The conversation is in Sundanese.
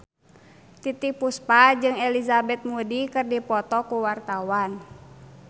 Titiek Puspa jeung Elizabeth Moody keur dipoto ku wartawan